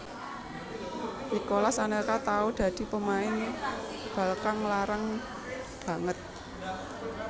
Nicolas Anelka tahu dadi pemain bal kang larang banget